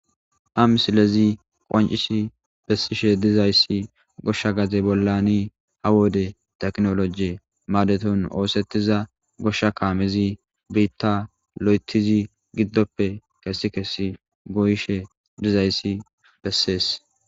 a misilezi qoncis bessishe dizayssi goshsha gaze bollani ha wode teknoloje maadeton oosettiza goshsha kaamezi biitta lo7etizi giddoppe kessi kessi goyishe dizayssi bessees